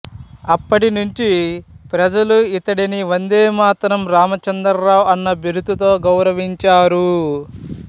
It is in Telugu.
అప్పటినుంచి ప్రజలు ఇతడిని వందేమాతరం రామచంద్రరావు అన్న బిరుదుతో గౌరవించారు